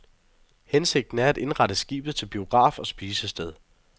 Hensigten er at indrette skibet til biograf og spisested.